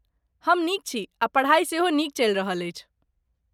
हम नीक छी आ पढ़ाई सेहो नीक चलि रहल अछि।